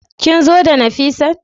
Kin zo da Nafisat?